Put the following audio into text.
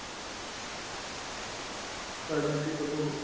ତ ଏମିତି ସବୁ